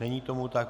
Není tomu tak.